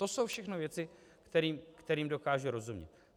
To jsou všechno věci, kterým dokážu rozumět.